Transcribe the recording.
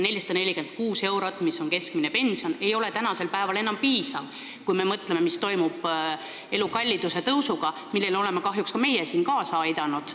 446 eurot, mis on keskmine pension, ei ole enam piisav, kui me mõtleme, mis toimub elukalliduse tõusuga, millele oleme kahjuks ka meie siin kaasa aidanud.